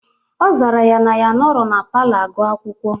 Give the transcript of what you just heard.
Ọ zara ya na ya anọrọ na palọ agụ akwụkwọ.